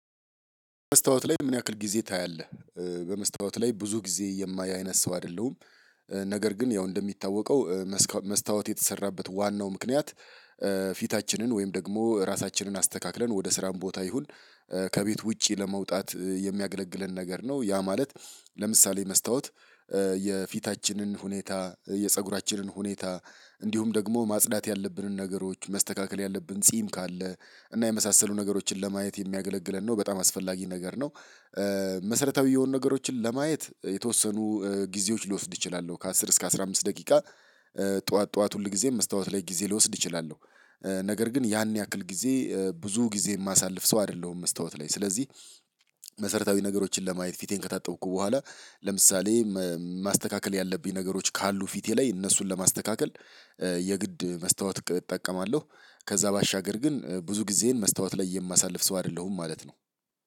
በመስታወት ላይ ምን ያክል ጊዜ ታያለህ? በመስታወት ላይ ብዙ ጊዜ የማይ አይነት ሰው አይደለሁም። ነገር ግን ያው እንደሚታወቀው መስታወት የተሰራበት ዋናው ምክንያት። ፊታችንን ወይም ደግሞ ራሳችንን አስተካክለን ወደ ስራን ቦታ ይሁን ከቤት ውጪ ለመውጣት የሚያገለግለን ነገር ነው ያ ማለት። ለምሳሌ መስታወት የፊታችንን ሁኔታ የፀጉራችንን ሁኔታ እንዲሁም ደግሞ ማጽዳት ያለብንን ነገሮች መስተካከል ያለብን ጺም ካለ እና የመሳሰሉ ነገሮችን ለማየት የሚያገለግለን ነው። በጣም አስፈላጊ ነገር ነው። መሰረታዊ የሆኑ ነገሮችን ለማየት የተወሰኑ ጊዜዎች ሊወስድ ይችላሉ ከአስር እስከ አስራ አምስት ደቂቃ። ጠዋት ጠዋት ሁል ጊዜ መስታወት ላይ ጊዜ ልወስድ እችላለሁ። ነገር ግን ያን ያክል ጊዜ ብዙ ጊዜ የማሳልፍ ሰው አይደለሁም መስታወት ላይ ስለዚህ። መሰረታዊ ነገሮችን ለማየት ፊቴን ከታጠብኩ በኋላ ለምሳሌ ማስተካከል ያለብኝ ነገሮች ካሉ ፊቴ ላይ እነሱን ለማስተካከል። የግድ መስታወት እጠቀማለሁ። ከዛ ባሻገር ግን ብዙ ጊዜን መስታወት ላይ የማሳልፍ ሰው አይደለሁም ማለት ነው።